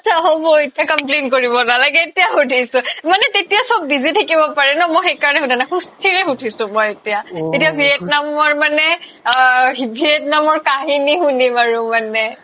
achcha achcha হ'ব এতিয়া complain কৰিব নালাগে এতিয়া সুধিছো মানে তেতিয়া চব busy থাকিব পাৰে ন মই সেইকাৰণে সোধা নাই সুস্থিৰে সুধিছো মই এতিয়া এতিয়া vietnam ৰ মানে অ v ~ v ~ vietnam ৰ কাহিনী শুনিম আৰু মানে